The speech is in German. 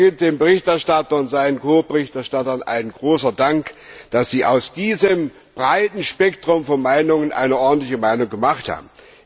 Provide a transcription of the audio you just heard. Und da gilt dem Berichterstatter und seinen Ko Berichterstattern ein großer Dank, dass sie aus diesem breiten Spektrum von Meinungen eine ordentliche Meinung gemacht haben.